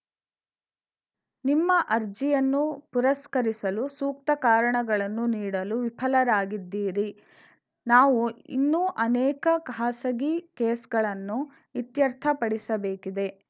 ನಿಮ್ಮ ಅರ್ಜಿಯನ್ನು ಪುರಸ್ಕರಿಸಲು ಸೂಕ್ತ ಕಾರಣಗಳನ್ನು ನೀಡಲು ವಿಫಲರಾಗಿದ್ದೀರಿ ನಾವು ಇನ್ನೂ ಅನೇಕ ಖಾಸಗಿ ಕೇಸ್‌ಗಳನ್ನು ಇತ್ಯರ್ಥ ಪಡಿಸಬೇಕಿದೆ